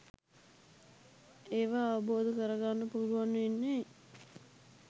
ඒවා අවබෝධ කර ගන්න පුළුවන් වෙන්නෙ